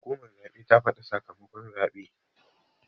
Hukumar zaɓe ta faɗa sakamakon zaɓe.